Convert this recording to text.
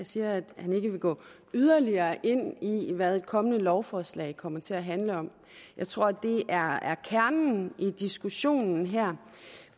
siger at han ikke vil gå yderligere ind i hvad det kommende lovforslag kommer til at handle om jeg tror det er kernen i diskussionen her